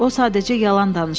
O sadəcə yalan danışır.